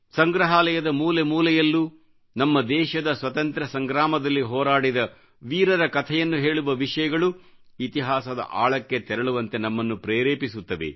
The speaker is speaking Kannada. ಸಂಗ್ರಹಾಲಯದ ಮೂಲೆ ಮೂಲೆಯಲ್ಲೂ ನಮ್ಮ ದೇಶದ ಸ್ವತಂತ್ರ ಸಂಗ್ರಾಮದಲ್ಲಿ ಹೋರಾಡಿದ ವೀರರ ಕಥೆಯನ್ನು ಹೇಳುವ ವಿಷಯಗಳು ಇತಿಹಾಸದ ಆಳಕ್ಕೆ ತೆರಳುವಂತೆ ನಮ್ಮನ್ನು ಪ್ರೇರೆಪಿಸುತ್ತವೆ